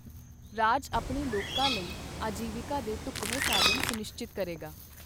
ਰਾਜ ਆਪਣੇ ਲੋਕਾਂ ਲਈ ਆਜੀਵਿਕਾ ਦੇ ਢੁਕਵੇਂ ਸਾਧਨ ਸੁਨਿਸ਼ਚਤ ਕਰੇਗਾ।